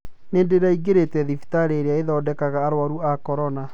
Nĩ ndĩraingĩrĩte thibitarĩ iria ithondekaga arũaru a corona.